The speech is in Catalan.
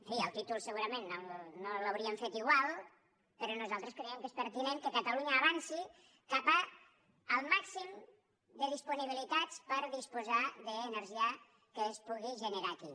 en fi el títol segurament no l’hauríem fet igual però nosaltres creiem que és pertinent que catalunya avanci cap al màxim de disponibilitats per disposar d’energia que es pugui generar aquí